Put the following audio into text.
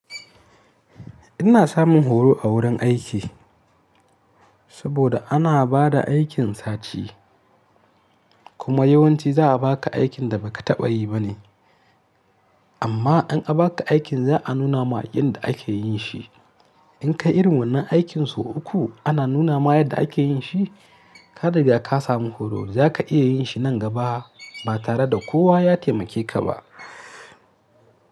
Ina samun horo a wurin aiki saboda ana ba da aikin sati. Kuma yawanci za a ba ka aikin da ba ka taɓa yi ba ne. Amma in an ba ka aikin za a nuna ma yanda ake yin shi. In ka yi irin wannan aikin sau uku ana nuna ma yadda ake yin shi, ka riga ka samu horo. Za ka iya yin shi nan gaba ba tare da kowa ya taimake ka ba.